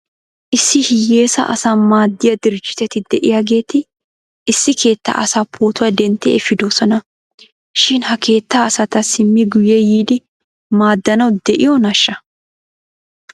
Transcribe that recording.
Issi hiyeesa asaa maaddiyaa dirijjiteti de'iyaageeti issi keettaa asaa pootuwaa dentti efiidosona shin he keettaa asata simmi guye yiidi maaddanaw de'iyoonaashsha?